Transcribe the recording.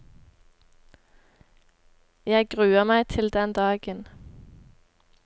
Jeg gruer meg til den dagen.